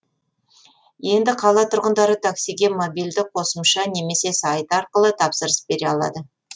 енді қала тұрғындары таксиге мобильді қосымша немесе сайт арқылы тапсырыс бере алады